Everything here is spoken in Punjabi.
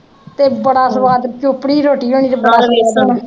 ਤੇ ਬੜਾ ਸਵਾਦ ਚੋਪੜੀ ਰੋਟੀ ਹੋਣੀ ਤੇ